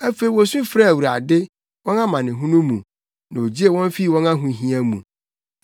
Afei wosu frɛɛ Awurade, wɔn amanehunu mu, na ogyee wɔn fii wɔn ahohia mu.